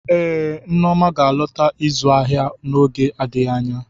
Ee, Neoma ga-alọta ịzụ ahịa n'oge adịghị anya.